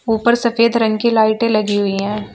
ऊपर सफेद रंग की लाइटे लगी हुई हैं।